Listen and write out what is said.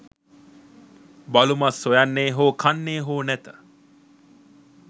බලුමස් සොයන්නේ හෝ කන්නේ හෝ නැත